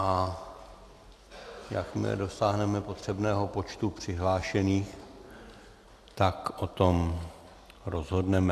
A jakmile dosáhneme potřebného počtu přihlášených, tak o tom rozhodneme.